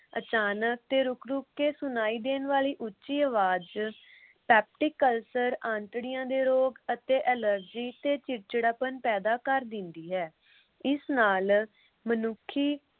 ਅਚਾਨਕ ਤੇ ਰੁਕ ਰੁਕ ਕੇ ਸੁਣਾਈ ਦੇਣ ਵਾਲੀ ਉਚੀ ਆਵਾਜ peptic ulcer ਅੰਤੜੀਆਂ ਦੇ ਰੋਗ ਅਤੇ allergy ਤੇ ਚਿੜਚਿੜਾਪਨ ਪੈਦਾ ਕਰ ਦਿੰਦੀ ਹੈ। ਇਸ ਨਾਲ ਮਨੁੱਖੀ